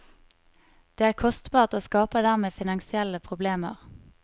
Det er kostbart og skaper dermed finansielle problemer.